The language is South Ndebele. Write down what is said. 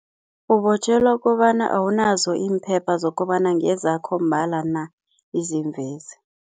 Ubotjhelwa kobana awunazo iimpepha zokobana ngezakho mbala na izimvezi.